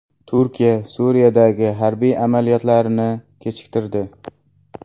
Turkiya Suriyadagi harbiy amaliyotlarni kechiktirdi.